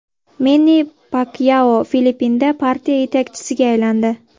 Menni Pakyao Filippinda partiya yetakchisiga aylandi.